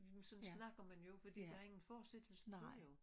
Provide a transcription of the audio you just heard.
Jamen sådan snakker man jo fordi der er ingen fortsættelse til jo